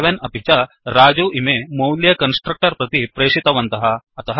11 अपि च Rajuइमे मौल्ये कन्स्ट्रक्टर् प्रति प्रेशितवन्तः